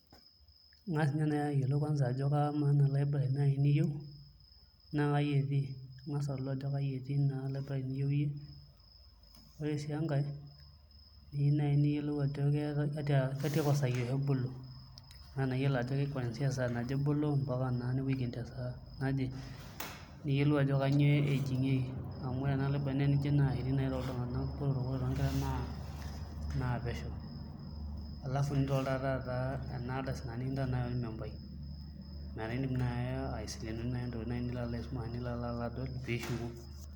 Inga nai ayiolu ajo kamaa ena library niyieu nakai etii ingasa ayiolou ajo kai etii Library niyieu iyie ore si enkae niyieu si neyiolou ajo kasaaja oshi ebolo anaa iyolo ajo sai aja oshi ebolo niyolo ajo nepuoi Aiken tesai aje niyiolou ajo kanyio ejingieki amu ore ena Library na nyoo toltunganak botorok na nyo tonkera napesho alfu enardasi nikintaa nai ormembai metaabindim nai aisilenoi ntokitin nilo aisum nilo adol pishuku.